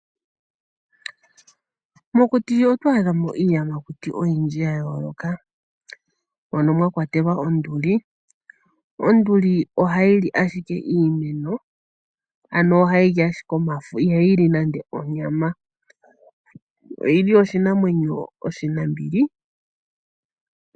Mokuti oto adhamo iiyamakuti oyindji ya yooloka mono mwa kwatelwa onduli. Onduli ohayi li ashike iimeno ano ohayi li ashike omafo ihayi li onyama nande nande. Oyili oshinamwenyo oshinambili.